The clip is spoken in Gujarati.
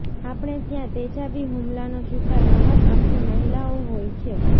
આપણે ત્યાં તેજાબી હુમલાનો શિકાર મહદઅંશે મહિલાઓ હોય છે